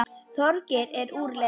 Þorgeir er úr leik.